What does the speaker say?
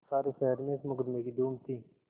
सारे शहर में इस मुकदमें की धूम थी